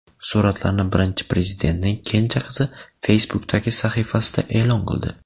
Suratlarni Birinchi Prezidentning kenja qizi Facebook’dagi sahifasida e’lon qildi.